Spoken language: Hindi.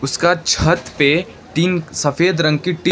इसका छत पे तीन सफेद रंग की टी --